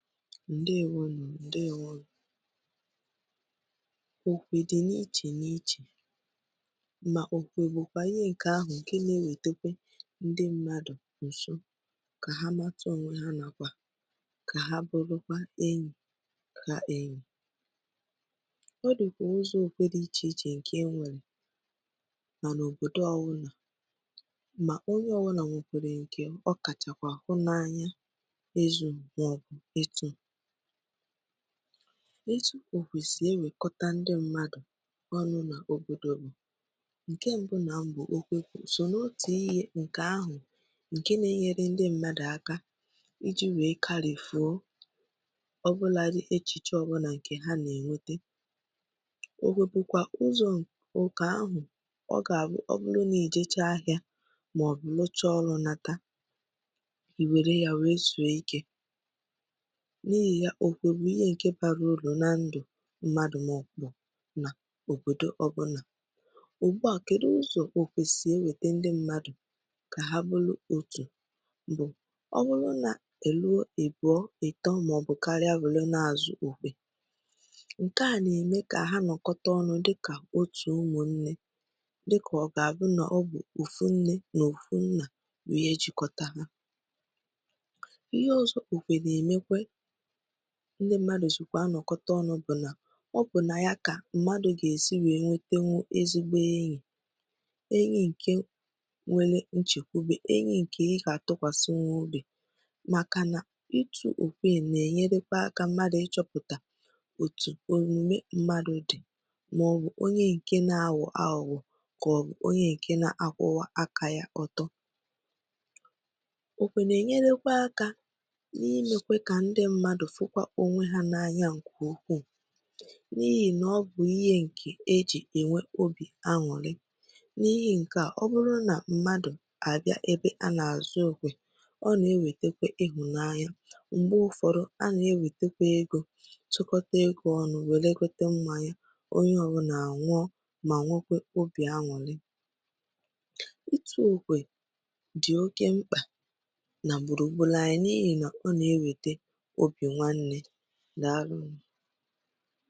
Ǹdeēwònụ́, ǹdeēwònụ́ okwè dị n’ìchè n’ìchè, mà okwè bụ̀kwa ihe ǹkè ahụ̀ ǹkè na-ewètèkwè ndị mmadụ̀ nsò, kà ha mátà ònwè ha, nàkwa kà ha bùlụkwà ènỵì kà ènỵì. Ọ dị̀kwà ụzọ̇ okwè dị iche iche ǹkè e nwèrè. Mànà òbòdo ọ́ wụ̀nà, mà onye ọ́ wụ̀nà nwèkwèrè ǹkè ọ kàchàkwà hù n’ànỵá n’ìzù màọ̀bụ̀ ìtù. Òtù okwè sì èwèkọtà ndị mmadụ̀ ọnụ nà òbòdò bụ̀, ǹkè bụ̀rị̀ àkọ́ mbu, okwè sò n’òtù ihe ǹkè ahụ̀ ǹkè na-enyèrè ndị mmadụ̀ aka iji̇ wèe kálịfùo ọbụlàdị̀ èchìchè ọbụlà ǹkè ha nà-ènwètè. Okwè bụ̀kwa ụzọ̇ ụ́kà ahụ̀ — ọ gà-àbụ́ ọ́bụrụ̀ nà èjèchá ahịa màọ̀bụ̀ èjèchá ọrụ̇ nata — í wèrè yà wèe zùo ìké. N’ìhì yà, okwè bụ̀ ihe ǹkè bàrà ụ̀rù nà ndụ̀ mmadụ̀ màọ̀bụ̀ nà òbòdo ọbụ̇nà. Ụ̀gbúà, kèdù ụzọ̄ okwè sì ewètè ndị mmadụ̀ kà ha bùrụ̀ òtù? Ọ̀ bụ́rù̀ nà èlùo ị̀bùọ̇, ìtọ̀ màọ̀bụ̀ káríà, nwèrè na-àzụ̀ okwè, ǹkè a nà-èmè kà ha nọ̀kọ̀tà ọnụ̇ dịkà òtù ụmụ̀nnè, dịkà ọ gà-àbụ́ nà ọ bụ̀ òfù nnè nà òfù nnà bụ̀ ihe ejikọ̀tà hā. Ihe òzò̇ okwè nà-èmekwà, ǹkè ndị mmadụ̀ jìkwà ànọ̀kọ̀tà ọnụ̇ bụ̀ nà ọ bụ̀ nà yà kà mmadụ̀ gà-èsì nwè nwetèwù ezigbo ènỵì — ènỵì ǹkè nwèrè nchèkwùbè, ènỵì ǹkè ị gà-àtọkwàsị wá òbí. Màkà nà ìtù okwè èè nà-ènyèrèkwà ákà mmadụ̀ ịchọ̇pụ̀tà òtù òmùmè mmadụ̀ dị̀, màọ̀bụ̀ onye ǹkè na-àwọ̀ àhúghò, kà ọ̀ bụ̀ onye ǹkè nà-akwụ̀wá ákà yà ọtọ̀. Okwè nà-ènyèlèkwà aka n’ìmèkwà kà ndị mmadụ̀ fùkwà ònwè hā ànyá nke ukwu, n’ìhì nà ọ bụ̀ ihe ǹkè e jì enwè obì ànụ́rì. N’ìhì nke à, ọ̀bụ̀rụ̀ nà mmadụ̀ bịa ebe a n’àzụ okwè, ọ nà-ewètèkwè ịhụ̀ n’ànỵá. Mgbe ụ̀fọdụ a nà-ewètèkwè ègò, tụ̀kọ̀tà ègò ọnụ̇, wèlekò tèkwè mmanya, onye ọbụlà ànwùò mà nwèkwè obì ànwù̀rì. Ìtù okwè dị oke mkpa nà gbùrù gbúrù, ànyị n’ìhì nà ọ nà-enwètè obì ànụ́rì. Dàlù nụ.